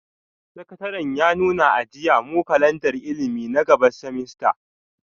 Sakataren ya nuna a jiya, mu kalandar ilimi na gaba semester,